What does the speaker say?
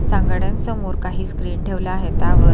सांगाड्यांसमोर काही स्क्रीन ठेवला आहे त्यावर--